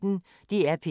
DR P1